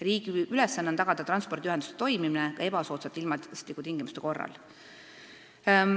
Riigi ülesanne on tagada transpordiühenduse toimimine ka ebasoodsate ilmastikutingimuste korral.